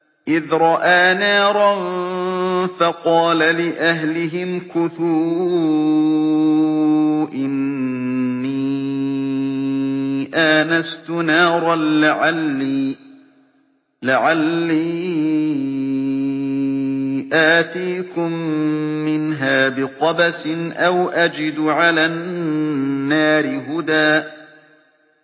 إِذْ رَأَىٰ نَارًا فَقَالَ لِأَهْلِهِ امْكُثُوا إِنِّي آنَسْتُ نَارًا لَّعَلِّي آتِيكُم مِّنْهَا بِقَبَسٍ أَوْ أَجِدُ عَلَى النَّارِ هُدًى